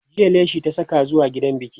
jiya leshi ta Saka zuwa gidan biki